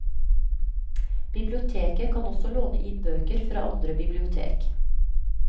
Biblioteket kan også låne inn bøker fra andre bibliotek.